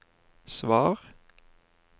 svar